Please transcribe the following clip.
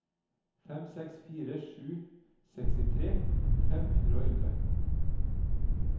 fem seks fire sju sekstitre fem hundre og elleve